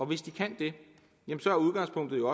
hvis de kan det er udgangspunktet jo